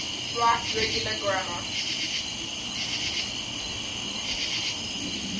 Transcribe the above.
right regular grammar